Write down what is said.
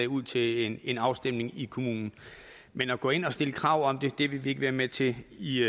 ud til en afstemning i kommunen men at gå ind og stille krav om det det vil vi ikke være med til i